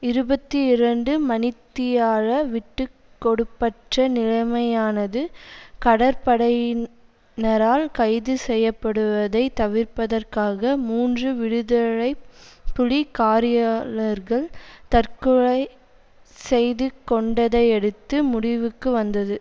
இருபத்தி இரண்டு மணித்தியால விட்டு கொடுப்பற்ற நிலைமையானது கடற்படையினரால் கைது செய்யப்படுவதைத் தவிர்ப்பதற்காக மூன்று விடுதலை புலி காரியாளர்கள் தற்கொலை செய்துகொண்டதையடுத்து முடிவுக்கு வந்தது